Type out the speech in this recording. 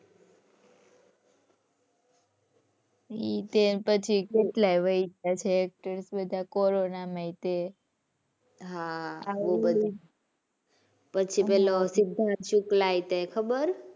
એ તો બધા કેટલાય વય ગયા છે actors બધા કોરોનામાંય તે. હાં પછી પેલો સિદ્ધાર્થ શુક્લાય તે ખબર.